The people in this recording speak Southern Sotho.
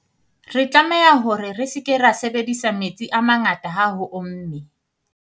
re tlameha hore re se ke ra sebedisa metsi a mangata ha ho omme